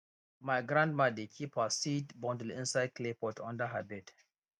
my grandma dey keep her seed bundle inside clay pot under her bed